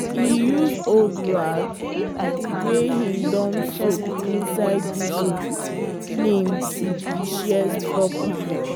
he use old rag wey him don soak inside diesel clean di shears proper.